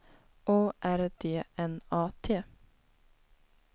O R D N A T